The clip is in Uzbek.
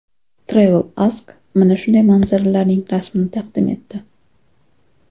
Travel Ask mana shunday manzaralarning rasmini taqdim etdi.